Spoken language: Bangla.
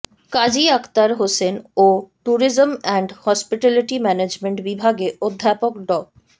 কাজী আখতার হোসেন ও ট্যুরিজম অ্যান্ড হসপিটালিটি ম্যানেজমেন্ট বিভাগে অধ্যাপক ড